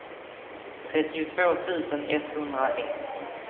trettiotvå tusen etthundraett